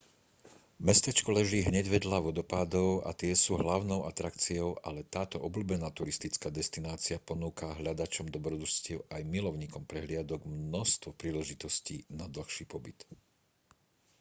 mestečko leží hneď vedľa vodopádov a tie sú hlavnou atrakciou ale táto obľúbená turistická destinácia ponúka hľadačom dobrodružstiev aj milovníkom prehliadok množstvo príležitostí na dlhší pobyt